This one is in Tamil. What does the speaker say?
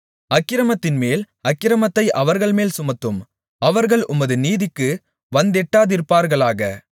அக்கிரமத்தின்மேல் அக்கிரமத்தை அவர்கள்மேல் சுமத்தும் அவர்கள் உமது நீதிக்கு வந்தெட்டாதிருப்பார்களாக